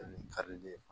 karili ye